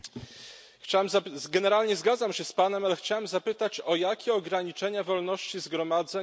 Generalnie zgadzam się z Panem, ale chciałem zapytać, o jakie ograniczenia wolności zgromadzeń w Polsce chodzi.